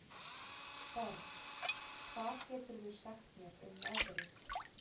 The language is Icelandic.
Borg, hvað geturðu sagt mér um veðrið?